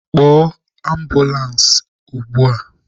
Kpọọ ambụlans ugbua!